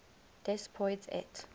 des poids et